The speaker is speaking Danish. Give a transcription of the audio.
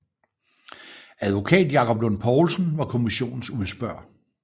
Advokat Jakob Lund Poulsen var kommissionens udspørger